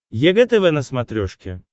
егэ тв на смотрешке